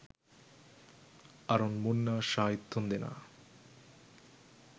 Arun Munna Shai තුන්දෙනා